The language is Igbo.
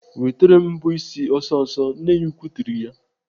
"Wetere m mbọ ịsị ọsịsọ!" Nne ya ukwuu tiri ya.